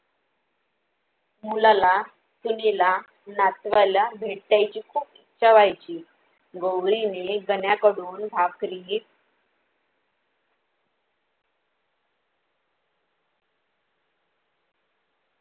मुलाला, सुनेल, नातूवायला भेटायची खूप इच्छा व्हायची, गौरीने गण्याकडून भाकरी